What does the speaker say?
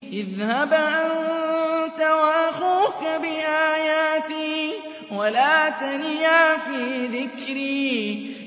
اذْهَبْ أَنتَ وَأَخُوكَ بِآيَاتِي وَلَا تَنِيَا فِي ذِكْرِي